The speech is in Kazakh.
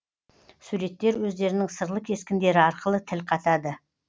суреттер өздерінің сырлы кескіндері арқылы тіл қатады